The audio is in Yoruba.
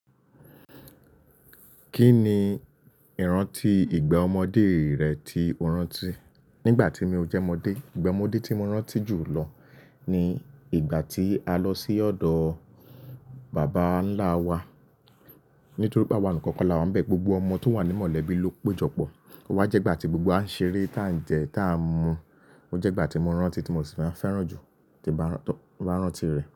Kí ni ìrántí ìgbà ọmọdé rẹ tí o rántí? Nígbà tí mi ò jẹ́ ọmọdé, ìgbà ọmọdé tí mo rántí jù lọ ni ìgbà tí a lọ sí ọ̀dọ̀ bàbá ńlá wa. Nítorí pé àwa nìkan kọ là wá ń bẹ gbogbo ọmọ tó wà ní mọ̀lẹ́bí ló péjọpọ̀. Ó wá jẹ́ ìgbà tí gbogbo wa ń ṣeré, tá ń jẹ, tá ń mu. Ó jẹ́ ìgbà tí mo rántí tí mo sì máa fẹ́ràn jù tí bá rántí rẹ̀.